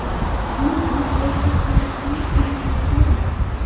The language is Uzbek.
Shuningdek, erta qarishning ham oldini oladi.